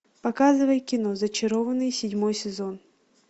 показывай кино зачарованные седьмой сезон